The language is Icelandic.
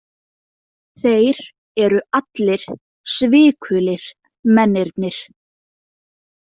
Þeir eru allir svikulir, mennirnir.